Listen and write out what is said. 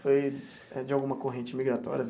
Foi de alguma corrente migratória?